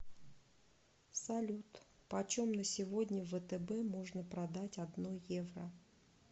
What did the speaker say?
салют почем на сегодня в втб можно продать одно евро